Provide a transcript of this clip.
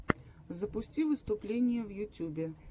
запусти выступления в ютюбе